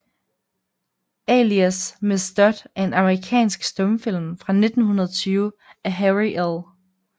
Alias Miss Dodd er en amerikansk stumfilm fra 1920 af Harry L